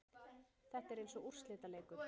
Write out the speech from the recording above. Þetta er eins og úrslitaleikur.